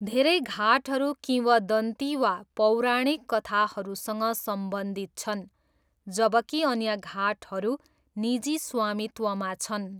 धेरै घाटहरू किंवदन्ती वा पौराणिक कथाहरूसँग सम्बन्धित छन् जबकि अन्य घाटहरू निजी स्वामित्वमा छन्।